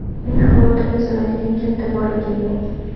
Meni xavotirga soladigan katta boyligim yo‘q.